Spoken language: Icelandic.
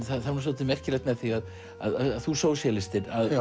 það er svolítið merkilegt með þig að þú sósíalistinn að